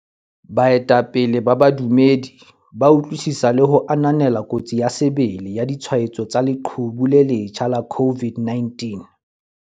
Baetapele ba badumedi ba utlwisisa le ho ananela kotsi ya sebele ya ditshwaetso tsa leqhubu le le letjha la COVID-19.